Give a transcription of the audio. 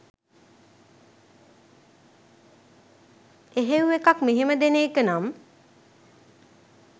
එහෙව් එකක් මෙහෙම දෙන එකනම්